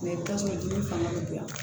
tasuma joli fana bɛ bonya